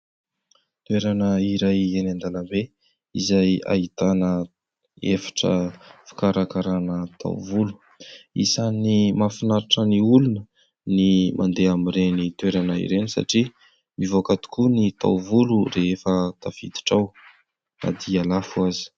Toerana iray eny an-dalambe, izay ahitana efitra fikarakarana taovolo, isany mahafinaritra ny olona ny mandeha amin'ireny toerana ireny satria mivoaka tokoa ny taovolo rehefa tafiditra ao na dia lafo aza.